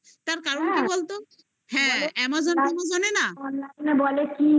তার কারণটা বলতো? হ্যাঁ amazon prime এ না বলে